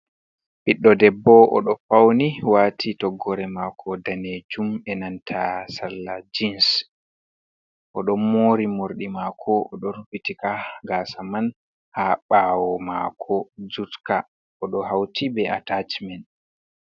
Ɓiɗɗo debbo, oɗo fauni wati toggore mako danejuum be nanta salla jins o ɗon mori morɗi mako oɗo rufitika gaasa man ha bawo mako, jutka oɗo hauti be at acimen.